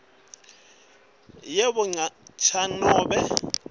yebo cha nobe